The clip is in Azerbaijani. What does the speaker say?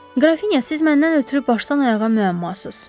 Qrafinya, siz məndən ötrü başdan-ayağa müəmmasız.